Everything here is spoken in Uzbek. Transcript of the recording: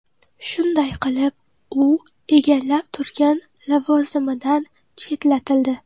Shunday qilib, u egallab turgan lavozimidan chetlatildi.